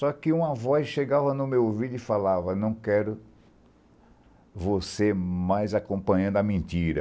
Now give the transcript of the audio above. Só que uma voz chegava no meu ouvido e falava, não quero você mais acompanhando a mentira.